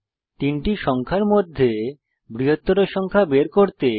তিনটি সংখ্যার মধ্যে বৃহত্তর সংখ্যা বের করতে একটি প্রোগ্রাম লিখুন